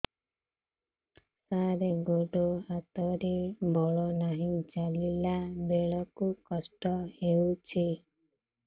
ସାର ଗୋଡୋ ହାତରେ ବଳ ନାହିଁ ଚାଲିଲା ବେଳକୁ କଷ୍ଟ ହେଉଛି